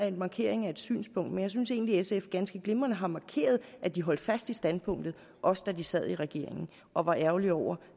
en markering af et synspunkt men jeg synes egentlig sf ganske glimrende har markeret at de holdt fast i standpunktet også da de sad i regering og var ærgerlige over